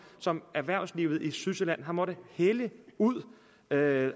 som erhvervslivet i sydsjælland har måttet hælde ud og det